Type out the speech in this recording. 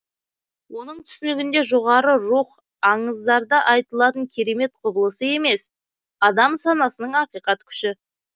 оның түсінігінде жоғары рух аңыздарда айтылатын керемет құбылысы емес адам санасының ақиқат күші